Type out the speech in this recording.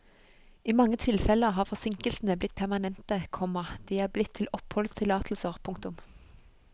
I mange tilfeller har forsinkelsene blitt permanente, komma de er blitt til oppholdstillatelser. punktum